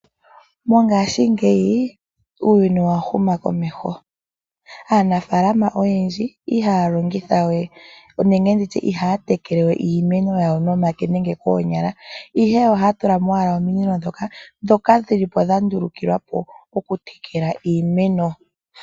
Mongaashingeyi uuyuni owahuma komeho. Aanafalama oyendji ihaya longitha we nenge ihaya tekelewe iimeno yayo nomake nenge koonyala ihe ohaya tula mo ominino ndhoka dhandulukilwa po okutekela iimeno.